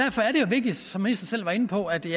vigtigt som ministeren selv var inde på at det